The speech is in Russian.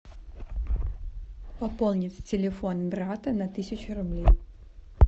пополни телефон брата на тысячу рублей